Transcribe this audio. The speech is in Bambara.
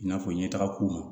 I n'a fɔ ɲɛtaga ko